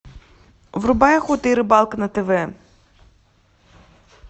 врубай охота и рыбалка на тв